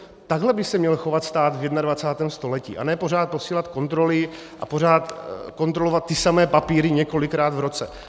Takhle by se měl chovat stát v 21. století, a ne pořád posílat kontroly a pořád kontrolovat ty samé papíry několikrát v roce.